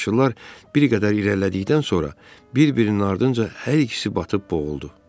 Üçbaşlılar bir qədər irəlilədikdən sonra bir-birinin ardınca hər ikisi batıb boğuldu.